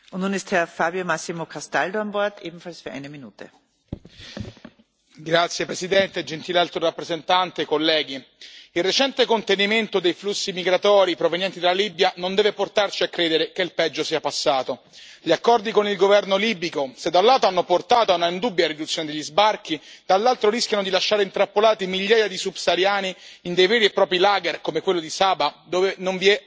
Signora Presidente, onorevoli colleghi, gentile Alto rappresentante, il recente contenimento dei flussi migratori provenienti dalla Libia non deve portarci a credere che il peggio sia passato. Gli accordi con il Governo libico, se da un lato hanno portato a un'indubbia riduzione degli sbarchi, dall'altro rischiano di lasciare intrappolati migliaia di subsahariani in veri e propri lager, come quello di Saba, dove non vi è alcun rispetto dei diritti umani.